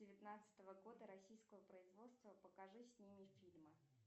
девятнадцатого года российского производства покажи с ними фильмы